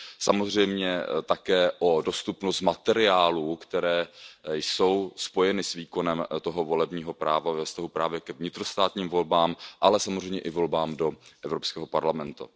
Samozřejmě také o dostupnost materiálů, které jsou spojeny s výkonem toho volebního práva ve vztahu právě k vnitrostátním volbám, ale samozřejmě i volbám do Evropského parlamentu.